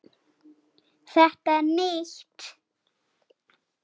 Þetta er nýtt!